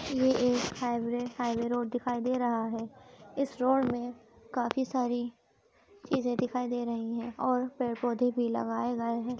ये एक highway highway road दिखाई दे रहा है। इस रोड में काफी सारी चीज़े दिखाई दे रही हैं और पेड़-पौधे भी लगए गए हैं।